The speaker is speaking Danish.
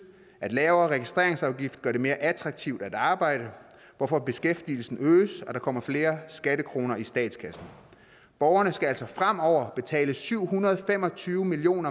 at en lavere registreringsafgift gør det mere attraktivt at arbejde hvorfor beskæftigelsen øges og der kommer flere skattekroner i statskassen borgerne skal altså fremover betale syv hundrede og fem og tyve million